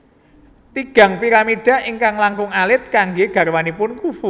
Tigang piramida ingkang langkung alit kanggé garwanipun Khufu